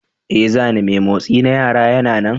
Ee, zane mai motsi na yara yana nan.